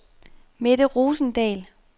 Mette Rosendahl